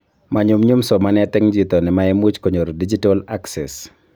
Manyumnyum somanet eng chito nemaimuch konyor digital acces